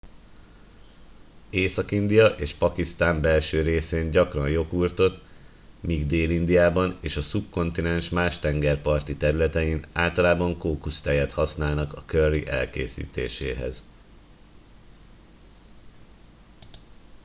észak india és pakisztán belső részén gyakran joghurtot míg dél indiában és a szubkontinens más tengerparti területein általában kókusztejet használnak a curry készítéséhez